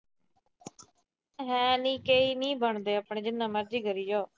ਮੈਂ ਕਿਹਾ ਇਹ ਨੀ ਬਣਦੇ ਆਪਣੇ ਤੋਂ, ਜਿੰਨਾ ਮਰਜੀ ਕਰੀ ਜਾਉ।